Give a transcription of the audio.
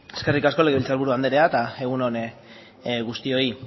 eskerrik asko legebiltzar buru andrea eta egun on guztioi